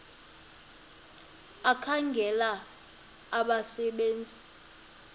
ekhangela abasebe nzi